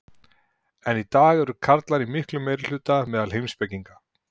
enn í dag eru karlar í miklum meirihluta meðal heimspekinga